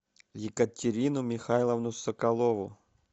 екатерину михайловну соколову